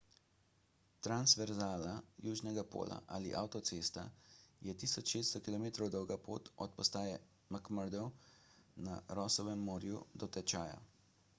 transverzala južnega pola ali avtocesta je 1600 km dolga pot od postaje mcmurdo na rossovem morju do tečaja